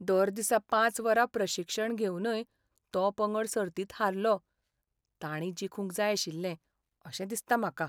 दर दिसा पांच वरां प्रशिक्षण घेवनय तो पंगड सर्तींत हारलो. तांणी जिखूंक जाय आशिल्लें अशें दिसता म्हाका.